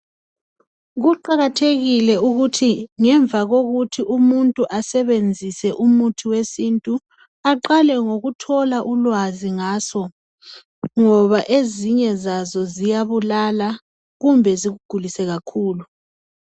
Kuqakathekile ukuthi ngemva lokuthi umuntu asebenzise umuthi wesintu aqale ngokuthola ulwazi ngaso ngoba ezinye zazi zoyabulala kumbe zikugulise kakhulu